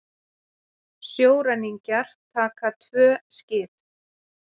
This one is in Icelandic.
Sjóræningjar taka tvö skip